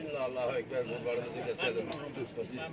Bismillah Allahu Əkbər qurbanımızı kəsəlim, Bismillah.